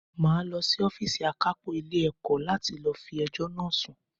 Màá lọ sí Ófììsì àkápò Ilé ẹ̀kọ́ láti lọ fi ẹjọ́ náà sun